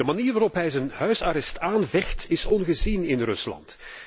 De manier waarop hij zijn huisarrest aanvecht is ongezien in Rusland.